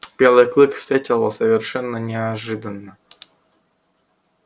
белый клык встретил его совершенно неожиданно